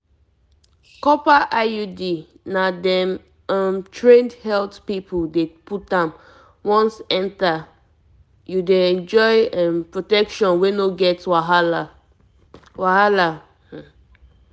copper iud na dem um trained health people dey put am once enter you dey enjoy um protection wey no get wahala wahala